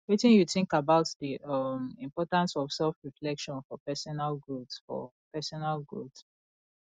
wetin you think about di um importance of selfreflection for personal growth for personal growth